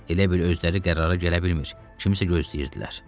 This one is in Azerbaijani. Elə bil özləri qərara gələ bilmir, kimisə gözləyirdilər.